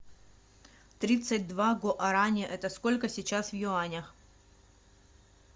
тридцать два гуарани это сколько сейчас в юанях